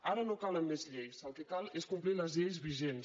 ara no calen més lleis el que cal és complir les lleis vigents